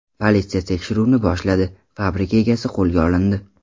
Politsiya tekshiruvni boshladi, fabrika egasi qo‘lga olindi.